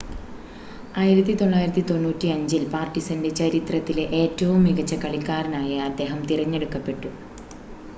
1995-ൽ പാർടിസൻ്റെ ചരിത്രത്തിലെ ഏറ്റവും മികച്ച കളിക്കാരനായി അദ്ദേഹം തിരഞ്ഞെടുക്കപ്പെട്ടു